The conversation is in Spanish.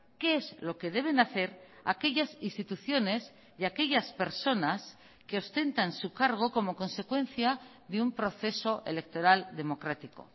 qué es lo que deben hacer aquellas instituciones y aquellas personas que ostentan su cargo como consecuencia de un proceso electoral democrático